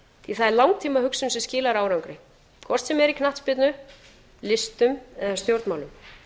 því það er langtímahugsun sem skilar árangri hvort sem er í knattspyrnu listum eða stjórnmálum